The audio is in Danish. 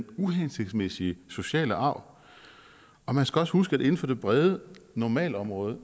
uhensigtsmæssige sociale arv og man skal også huske at inden for det brede normalområde